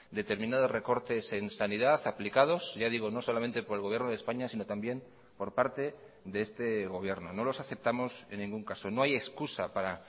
determinados recortes en sanidad aplicados ya digo no solamente por el gobierno de españa sino también por parte de este gobierno no los aceptamos en ningún caso no hay excusa para